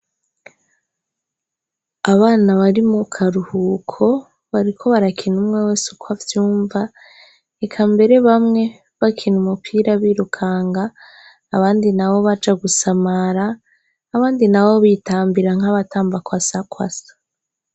Abana bari mu karuhuko, bariko barakina umwe wese uko avyumva, eka mbere bamwe bakina umupira birukanga, abandi nabo baja gusamara, abandi nabo bitambira nk'abatamba kwasakwasa.